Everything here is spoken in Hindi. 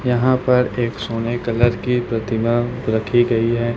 यहां पर एक सोने कलर की प्रतिमा रखी गई हैं।